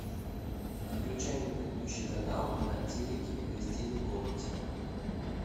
отключай на предыдущий канал на телике в гостиной комнате